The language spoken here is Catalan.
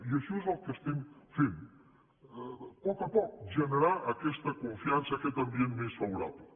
i això és el que estem fent a poc a poc generar aquesta confiança aquest ambient més favorable